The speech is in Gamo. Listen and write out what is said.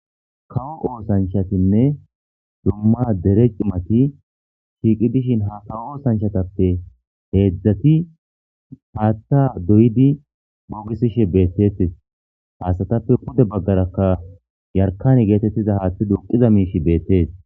kawo oosanchatinne dumma dere cimati shiiqi dishin ha kawo oosanchatappe heedzdzati haatta doydi moogisishe beettetis haasatappe pude baggarakka yarkane geetettiza haaththi duqiza miishi beettees